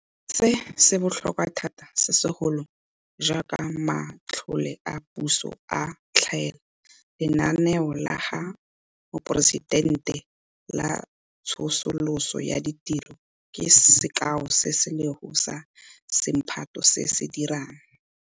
Se, se botlhokwa thata segolo jaaka matlole a puso a tlhaela. Lenaneo la ga Moporesitente la Tsosoloso ya Ditiro ke sekao se sengwe sa semphato se se dirang.